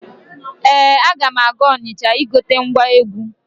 Ee, aga m aga Ọnịcha igote ngwa egwu.